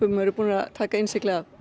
og eru búnir að taka innsiglið af